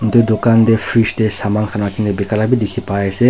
Etu dukhan dae fridge dae saman khan rakhina beka la bi dekhi pai ase.